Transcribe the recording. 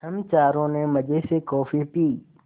हम चारों ने मज़े से कॉफ़ी पी